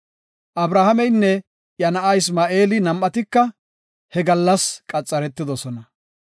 Abrahaameynne iya na7a Isma7eeli nam7atika he gallas qaxaretidosona.